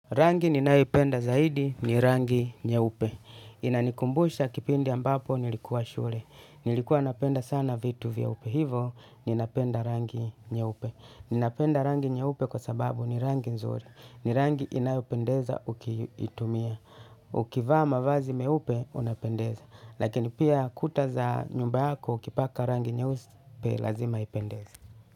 Rangi ninaipenda zaidi ni rangi nyeupe. Inanikumbusha kipindi ambapo nilikuwa shule. Nilikuwa napenda sana vitu vyeupe. Hivo ni napenda rangi nyeupe. Ni napenda rangi nyeupe kwa sababu ni rangi nzuri. Ni rangi inayopendeza ukiitumia. Ukivaa mavazi meupe unapendeza. Lakini pia kuta za nyumba yako ukipaka rangi nyeupe lazima ipendeze.